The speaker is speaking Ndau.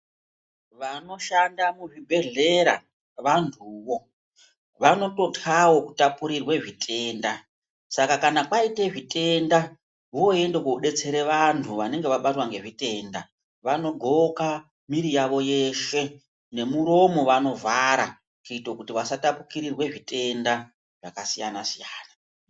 Vanoshanda muzvibhedhlera vantuwo vanototyawo kutapurirwa zvitenda saka kana kwaite zvitenda voende kobetsere vantu vanenga vabatwe ngezvitenda vanodhloke miri yavo yeshe nemuromo vanovhara kuitira kuti vasatapurirwe zvitenda zvakasiyana siyana.